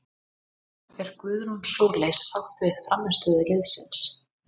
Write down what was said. Er Guðrún Sóley sátt við frammistöðu liðsins?